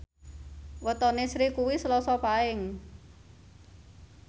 wetone Sri kuwi Selasa Paing